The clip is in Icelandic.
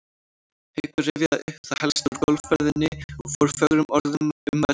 Haukur rifjaði upp það helsta úr golfferðinni og fór fögrum orðum um völlinn.